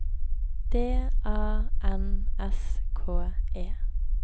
D A N S K E